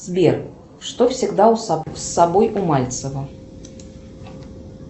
сбер что всегда с собой у мальцева